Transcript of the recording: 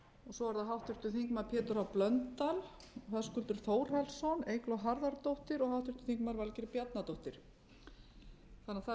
svo er það háttvirtur þingmaður pétur h blöndal höskuldur þórhallsson eygló harðardóttir og háttvirtur þingmaður valgerður bjarnadóttir þannig að það eru